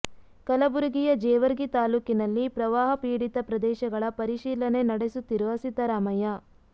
ಕಲಬುರಗಿಯ ಜೇವರ್ಗಿ ತಾಲ್ಲೂಕಿನಲ್ಲಿ ಪ್ರವಾಹ ಪೀಡಿತ ಪ್ರದೇಶಗಳ ಪರಿಶೀಲನೆ ನಡೆಸುತ್ತಿರುವ ಸಿದ್ದರಾಮಯ್ಯ